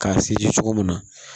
K'a seri cogo min na